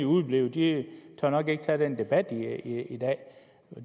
udeblive de tør nok ikke tage den debat i dag